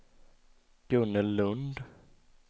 Gunnel Lund